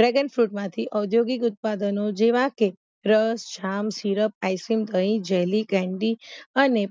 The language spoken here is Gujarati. Dragon Fruit માંથી ઔધ્યોગીક ઉત્પાદનો જેવાકે રસ જામ સીરપ આઈસ્ક્રીમ જેલ્લી કેન્ડીઅને